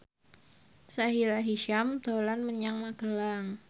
Sahila Hisyam dolan menyang Magelang